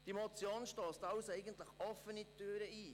Die Motion stösst also offene Türen auf.